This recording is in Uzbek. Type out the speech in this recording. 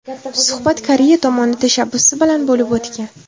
Suhbat Koreya tomoni tashabbusi bilan bo‘lib o‘tgan.